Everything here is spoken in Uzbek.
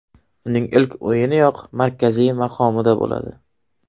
Uning ilk o‘yiniyoq markaziy maqomida bo‘ladi.